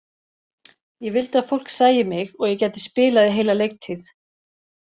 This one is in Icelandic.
Ég vildi að fólk sæi mig og ég gæti spilað í heila leiktíð.